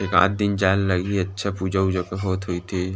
एकाक दिन जाए ल लगही अच्छा पूजा ऊजा होये होत होही ते --